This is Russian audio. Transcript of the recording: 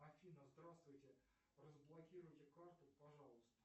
афина здравствуйте разблокируйте карту пожалуйста